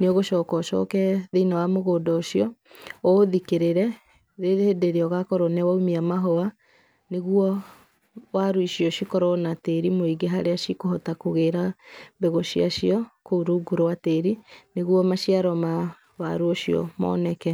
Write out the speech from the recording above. nĩ ũgũcoka ũcoke thĩinĩ wa mũgũnda ũcio, ũũthikĩrĩre hĩndĩ ĩrĩa ũgũkorwo nĩ wa ũmia mahũa, nĩguo waru icio cikorwo na tĩri mũingĩ harĩa cikũhota kũgĩĩra mbegũ ciacio kũu rungu rwa tĩri, nĩguo maciaro ma waru ũcio moneke.